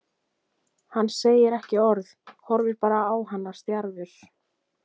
Hann segir ekki orð, horfir bara á hana stjarfur.